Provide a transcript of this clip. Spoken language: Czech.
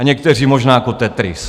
A někteří možná jako Tetris.